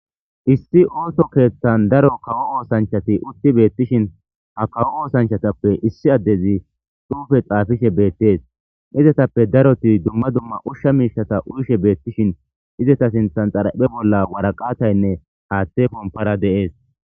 Issi ooso keeththan daro kawo oosanchati utti beettishin ha kawo oosanchatappe issi addezi dhuufe xaafishe beettees izetappe daroti dumma dumma ushsha miishata uyishe beettishin izeta sinthan xaraphe bolla waraqataynne haaththe pompara deees.